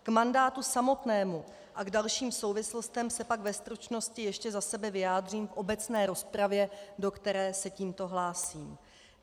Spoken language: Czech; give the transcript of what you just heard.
K mandátu samotnému a k dalším souvislostem se pak ve stručnosti ještě za sebe vyjádřím v obecné rozpravě, do které se tímto hlásím.